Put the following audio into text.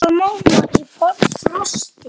Ryðga málmar í frosti?